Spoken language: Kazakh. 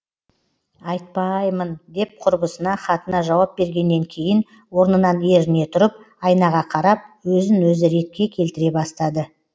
айтпаааймын деп құрбысына хатына жауап бергеннен кейін орнынан еріне тұрып айнаға қарап өзін өзі ретке келтіре бастады